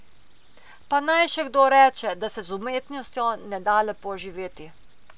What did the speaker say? Pa naj še kdo reče, da se z umetnostjo ne da lepo živeti.